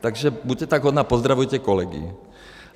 Takže buďte tak hodná, pozdravujte kolegy.